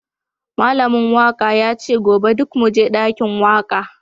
Malamin waka yace gobe duk muje dakin waka